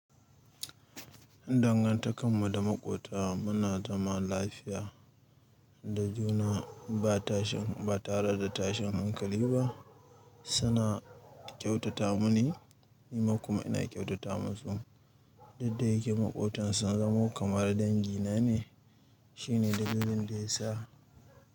Dangantakar mu da maƙwabta muna zaman lafiya da juna ba tare da tashin hankali ba, suna kyautata mini, ni kuma ina kyautata masu. Didda ya ke makwabtan sun zamo kamar dangi na ne. Shine dalilin da ya sa.